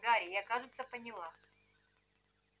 гарри я кажется поняла